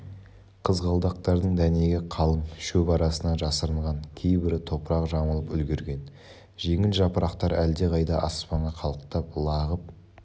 қызғалдақтардың дәнегі қалың шөп арасына жасырынған кейбірі топырақ жамылып үлгерген жеңіл жапырақтар әлдеқайда аспанға қалықтап лағып